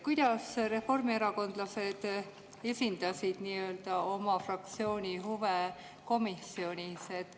Kuidas reformierakondlased esindasid oma fraktsiooni huve komisjonis?